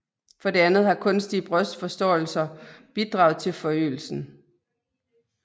For det andet har kunstige brystforstørrelser bidraget til forøgelsen